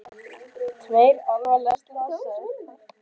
Tveir alvarlega slasaðir